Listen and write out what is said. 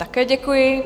Také děkuji.